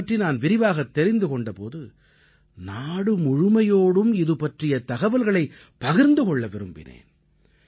இதைப் பற்றி நான் விரிவாகத் தெரிந்து கொண்ட போது நாடு முழுமையோடும் இது பற்றிய தகவல்களைப் பகிர்ந்து கொள்ள விரும்பினேன்